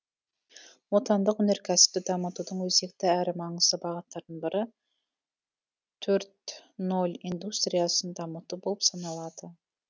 отандық өнеркәсіпті дамытудың өзекті әрі маңызды бағыттарының бірі төрт ноль индустриясын дамыту болып саналады